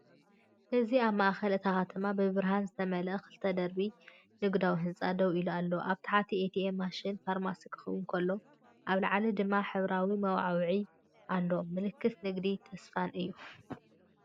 እዚ ኣብ ማእከል እታ ከተማ ብብርሃን ዝተመልአ ክልተ ደርቢ ንግዳዊ ህንጻ ደው ኢሉ ኣሎ። ኣብ ታሕቲ ኤቲኤም ማሽናትን ፋርማሲን ክኸውን ከሎ፡ ኣብ ላዕሊ ድማ ሕብራዊ መወዓውዒታት ኣሎ። ምልክት ንግድን ተስፋን'ዩ።